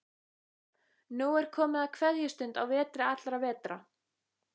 Nú er komið að kveðjustund á vetri allra vetra.